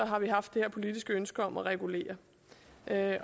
har vi haft det her politiske ønske om at regulere det